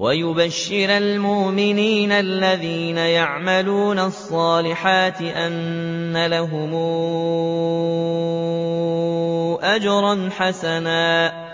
وَيُبَشِّرَ الْمُؤْمِنِينَ الَّذِينَ يَعْمَلُونَ الصَّالِحَاتِ أَنَّ لَهُمْ أَجْرًا حَسَنًا